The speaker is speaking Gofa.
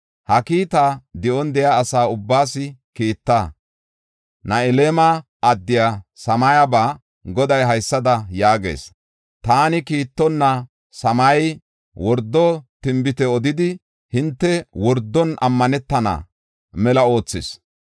“Ha kiitaa di7on de7iya asa ubbaas kiitta; Nahelama addiya Samayeba Goday haysada yaagees; Taani kiittonna Shamayey wordo tinbite odidi hinte wordon ammantana mela oothis.